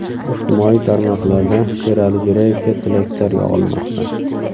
Ijtimoiy tarmoqlarda Sherali Jo‘rayevga tilaklar yog‘ilmoqda.